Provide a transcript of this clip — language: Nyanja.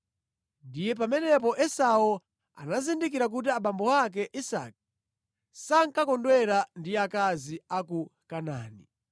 Ndiye pamenepo Esau anazindikira kuti abambo ake Isake sankakondwera ndi akazi a ku Kanaani;